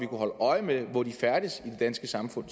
kunne holde øje med hvor de færdes i det danske samfund